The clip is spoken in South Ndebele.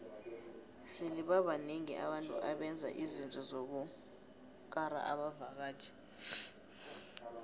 sele babanengi abantu abenza izinto zokukara abavaktjhi